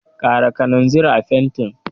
Ƙara kananzir a fentin.